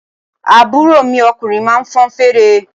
Àbúrò mi ọkùnrin máa ń fọn fèrè.